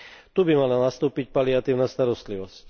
Tu by mala nastúpiť paliatívna starostlivosť.